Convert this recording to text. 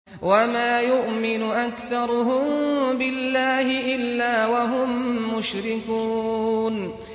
وَمَا يُؤْمِنُ أَكْثَرُهُم بِاللَّهِ إِلَّا وَهُم مُّشْرِكُونَ